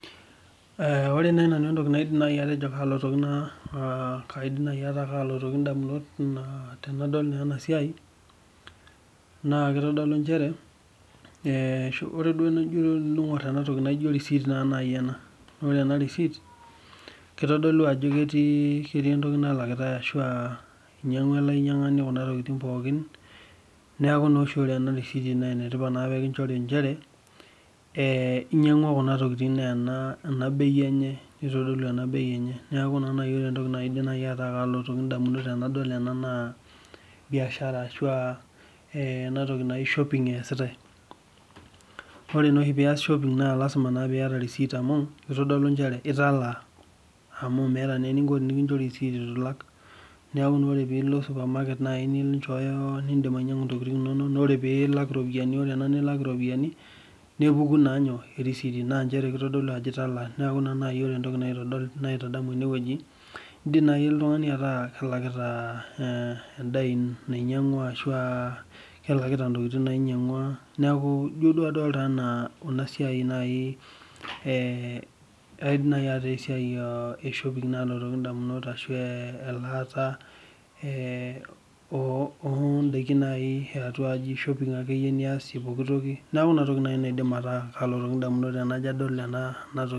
Ore naaji nanu entoki naji naidim atejo kaalotu damunot tenadol ena bae. naa receipt naaji ena ore ena receipt. kitodolu ajo ketii entoki nalakitae ashu aa inyiang'ua ele ainyiangani Kuna tokitin pookin. neeku naa ore oshi ena receipt ene tipat naa pee kinchori. inchere inyiang'ua Kuna tokitin naa ena bei enye. nitodolu ena bei enye. neeku naa ore entoki. naaji naidim ataa kelotu damunot naa biashara ashu ena toki naa shopping eesiate. ore naa oshi pee iyas shopping naa. lasima na pee iyata receipt amu kitodolu nchere italaa. amu meeta naa eninko pee ekinchorita eitu ilak. neeku tenilo supermarket .ninchooyo pee idim ainyiangu ntokitin inonok. ore ena nilak iropiyiani. nepuku naa inyoo erisiti. neeku ore entoki naitadamu ene wueji idim naaji oltungani ataa kelakita edaa nainyiangua.